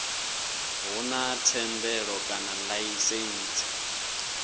hu na thendelo kana laisentsi